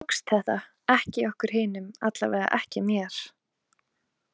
Þeim tókst þetta, ekki okkur hinum, allavega ekki mér.